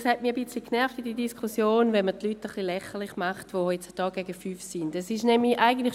Es hat mich in dieser Diskussion ein wenig genervt, wenn man die Leute, die gegen 5G sind, ein bisschen lächerlich macht.